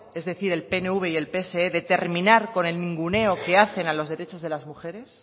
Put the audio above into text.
es decir el pnv y el pse de terminar con el ninguneo que hacen a los derechos de las mujeres